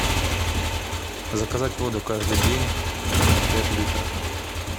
заказать воду каждый день пять литров